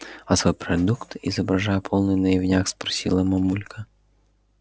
а свой продукт изображая полный наивняк спросила мамулька